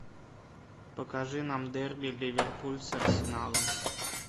покажи нам дерби ливерпуль с арсеналом